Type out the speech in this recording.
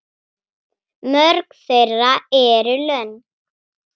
Mörg þeirra eru löng.